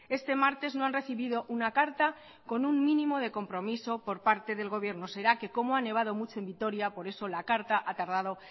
este martes no han recibido una carta con un mínimo de compromiso por parte del gobierno será que como ha nevado mucho en vitoria por eso la carta ha tardado